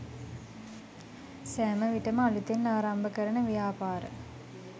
සෑම විටම අලුතෙන් ආරම්භ කරන ව්‍යාපාර